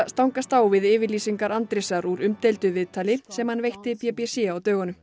stangast á við yfirlýsingar Andrésar úr umdeildu viðtali sem hann veitti b b c á dögunum